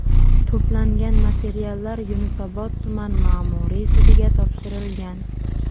To‘plangan materiallar Yunusobod tuman ma’muriy sudiga topshirilgan.